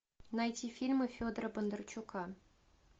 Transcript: найти фильмы федора бондарчука